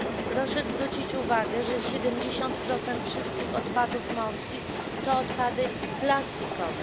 Proszę zwrócić uwagę, że 70 wszystkich odpadów w morzach to odpady plastikowe.